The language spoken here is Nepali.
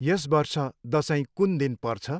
यस वर्ष दसैँ कुन दिन पर्छ?